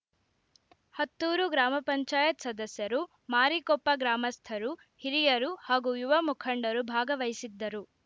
ಹತ್ತೂರು ಗ್ರಾಮ ಪಂಚಾಯತ್ ಸದಸ್ಯರು ಮಾರಿಕೊಪ್ಪ ಗ್ರಾಮಸ್ಥರು ಹಿರಿಯರು ಹಾಗೂ ಯುವ ಮುಖಂಡರು ಭಾಗವಹಿಸಿದ್ದರು